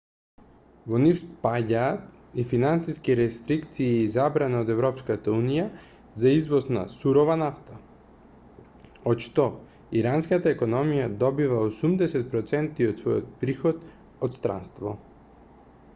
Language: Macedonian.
во нив спаѓаат и финансиски рестрикции и забрана од европската унија за извоз на сурова нафта од што иранската економија добива 80 % од својот приход од странство